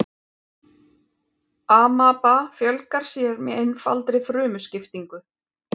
amaba fjölgar sér með einfaldri frumuskiptingu